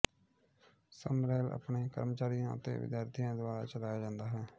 Summerhill ਆਪਣੇ ਕਰਮਚਾਰੀਆਂ ਅਤੇ ਵਿਦਿਆਰਥੀਆਂ ਦੁਆਰਾ ਚਲਾਇਆ ਜਾਂਦਾ ਹੈ